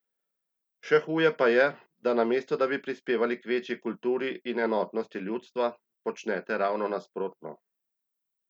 Še huje pa je, da namesto da bi prispevali k večji kulturi in enotnosti ljudstva, počnete ravno nasprotno!